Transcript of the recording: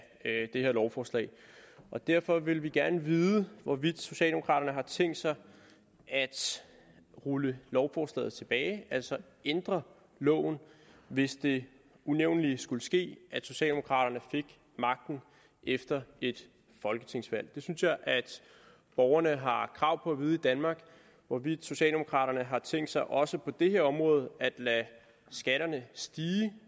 det her lovforslag og derfor vil vi gerne vide hvorvidt socialdemokraterne har tænkt sig at rulle lovforslaget tilbage altså ændre loven hvis det unævnelige skulle ske at socialdemokraterne fik magten efter et folketingsvalg det synes jeg borgerne har krav på at vide i danmark hvorvidt socialdemokraterne har tænkt sig også på det her område at lade skatterne stige